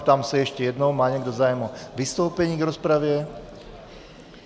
Ptám se ještě jednou, má někdo zájem o vystoupení v rozpravě.